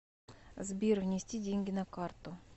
сбер внести деньги на карту